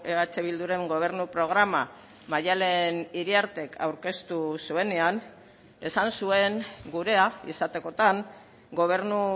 eh bilduren gobernu programa maddalen iriartek aurkeztu zuenean esan zuen gurea izatekotan gobernu